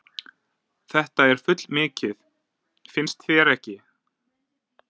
Þetta er fullmikið, finnst þér ekki?